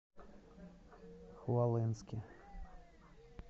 хвалынске